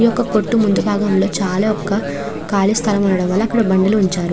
ఈ ఒక కొట్టు ముందూ బాగం లో చాల జగ వుంది కాళీ స్థలం వుండడం వాల అక్కడ జగ ఉంచారు.